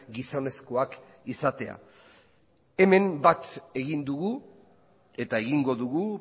gizonezkoak izatea hemen bat egin dugu eta egingo dugu